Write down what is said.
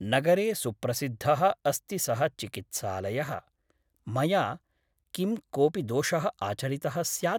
नगरे सुप्रसिद्धः अस्ति सः चिकित्सालयः । मया किं कोऽपि दोषः आचरितः स्यात् ?